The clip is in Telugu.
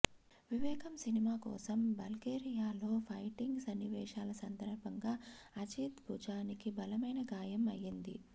వివేగం సినిమా కోసం బల్గేరియాలో ఫైటింగ్ సన్నివేశాల సందర్భంగా అజిత్ భుజానికి బలమైన గాయం అయ్యింది